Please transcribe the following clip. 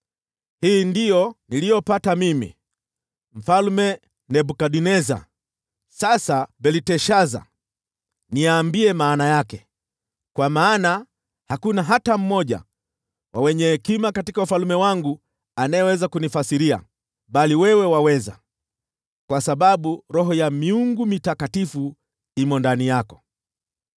“Hii ndiyo ndoto niliyoipata mimi, Mfalme Nebukadneza. Sasa Belteshaza, niambie maana yake, kwa maana hakuna hata mmoja wa wenye hekima katika ufalme wangu anayeweza kunifasiria. Bali wewe waweza, kwa sababu roho ya miungu mitakatifu imo ndani yako.”